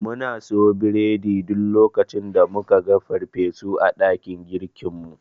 Muna siyo biredi duk lokacin da muka ga farfesu a dakin girkinmu.